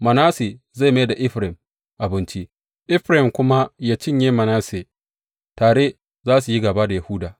Manasse zai mai da Efraim abinci, Efraim kuma yă cinye Manasse; tare za su yi gāba da Yahuda.